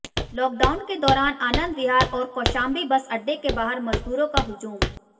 lockdown के दौरान आनंद विहार और कौशांबी बस अड्डे के बाहर मजदूरों का हुजूम